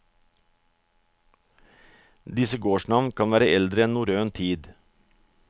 Disse gårdsnavn kan være eldre enn norrøn tid.